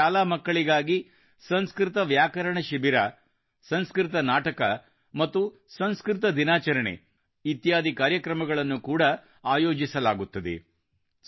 ಇಲ್ಲಿ ಶಾಲೆ ಮಕ್ಕಳಿಗಾಗಿ ಸಂಸ್ಕೃತ ವ್ಯಾಕರಣ ಶಿಬಿರ ಸಂಸ್ಕೃತ್ ಗ್ರಾಮರ್ ಕ್ಯಾಂಪ್ ಸಂಸ್ಕೃತ ನಾಟಕ ಮತ್ತು ಸಂಸ್ಕೃತ ದಿನಾಚರಣೆ ಇತ್ಯಾದಿ ಕಾರ್ಯಕ್ರಮಗಳನ್ನು ಕೂಡಾ ಆಯೋಜಿಸಲಾಗುತ್ತದೆ